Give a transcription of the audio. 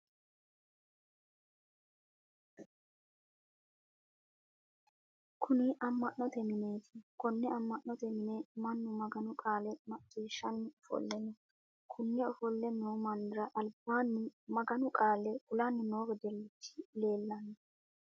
Kunni ama'note mineeti. Konne ama'note mine Manu maganu qaale maciishanni ofole no. Konni ofole noo mannira albaanni maganu qaale kulanni noo wedelichi leelano.